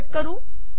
हे कट करू